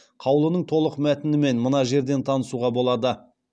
қаулының толық мәтінімен мына жерден танысуға болады